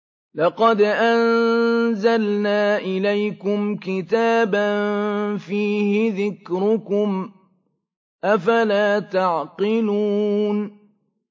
لَقَدْ أَنزَلْنَا إِلَيْكُمْ كِتَابًا فِيهِ ذِكْرُكُمْ ۖ أَفَلَا تَعْقِلُونَ